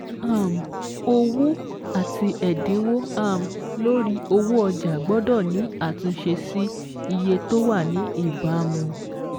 Ohun pàtàkì: Ìgbésẹ̀ kan n bẹ tó gbẹ̀yìn láti fi ọjà síta pẹ̀lú ẹ̀dínwó.